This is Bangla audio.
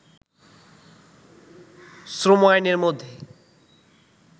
শ্রম আইনের মধ্যে